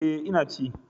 E, Ina ci.